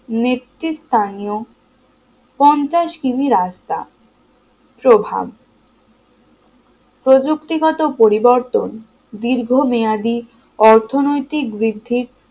নেত্রী স্থানীয় পঞ্চাশ কিমি রাস্তা প্রভাব প্রযুক্তিগত পরিবর্তন দীর্ঘ মেয়াদী অর্থনৈতিক বৃদ্ধির